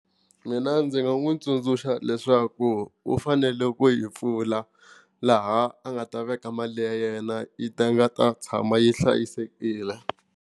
Mina ndzi nga n'wi tsundzuxa leswaku u fanele ku yi pfula laha a nga ta veka mali ya yena yi ta nga ta tshama yi hlayisekile.